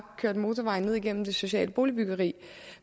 køre motorvejen ned gennem det sociale boligbyggeri